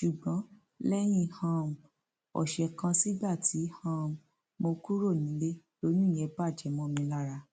ṣùgbọn lẹyìn um ọsẹ kan sígbà tí um mo kúrò nílé lóyún yẹn bàjẹ mọ mi lára